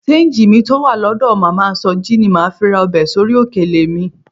Ṣéńjì mi tó wà lọ́dọ̀ màmá Sọjí ni màá fi ra ọbẹ̀ sórí òkèlè mi